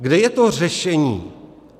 Kde je to řešení?